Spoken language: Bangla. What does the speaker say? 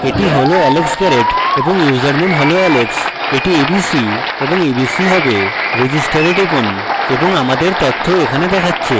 এটি has alex garrett এবং username has alex এটি abc এবং abc হবে register এ টিপুন এবং আমার তথ্য এখানে দেখাচ্ছে